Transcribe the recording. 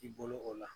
I bolo o la